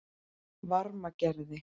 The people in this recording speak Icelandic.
Varmagerði